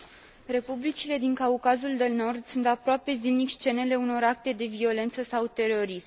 Republicile din Caucazul de Nord sunt aproape zilnic scenele unor acte de violență sau terorism.